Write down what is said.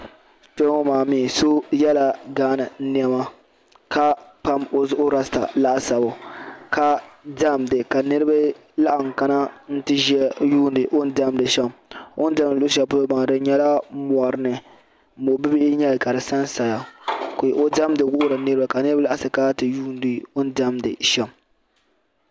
Kpeŋɔ maa mi so yela Ghana nema, ka pam ɔzuɣu rasta laasabu ka demda kaniribi laɣim n kana. n ti ʒɛya n yuuni ɔni demdi sham, ɔn demdi luɣi shɛli pɔlɔ maa di nyɛla mɔrini mɔbihi n nyɛli ka di sansaya ka ɔ demdi n wuhiri niriba. ka niribi kana ti yuuni ɔ ni demdi sham